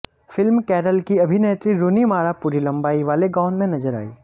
film Carol की अभिनेत्री Rooney Mara पूरी लंबाई वाले गाउन में नजर आईं